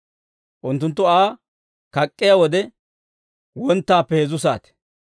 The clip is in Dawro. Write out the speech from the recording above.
Unttunttu Aa kak'k'iyaa wode, wonttaappe heezzu saate.